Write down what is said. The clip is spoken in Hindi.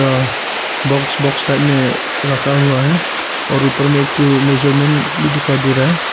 अ बॉक्स बॉक्स टाइप में रखा हुआ है और ऊपर में एक ठो मेजरमेंट भी दिखाई दे रहा है।